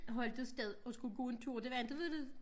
Holdt et sted og skulle gå en tur det var inte ved ved